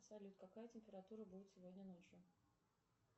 салют какая температура будет сегодня ночью